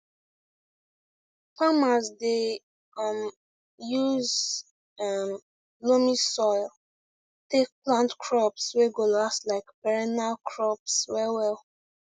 farmers dey um use um loamy soil take plant crops wey go last like perennial crops well well